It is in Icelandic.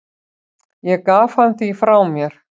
Ég gaf hann því frá mér.